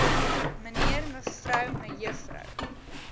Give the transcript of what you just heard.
mnr mev me